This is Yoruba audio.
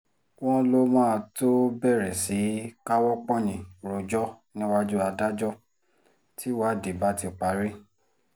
wọ́n lọ máa tóó bẹ̀rẹ̀ sí í káwọ́ pọ̀nyìn rojọ́ níwájú adájọ́ tíwádìí bá ti parí